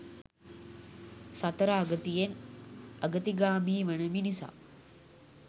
සතර අගතියෙන් අගතිගාමී වන මිනිසා